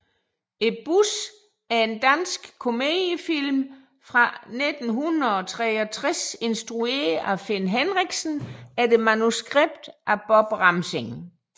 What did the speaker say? Bussen er en dansk komediefilm fra 1963 instrueret af Finn Henriksen efter manuskript af Bob Ramsing